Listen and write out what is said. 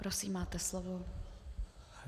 Prosím, máte slovo.